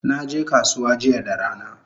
Naje kasuwa jiya da rana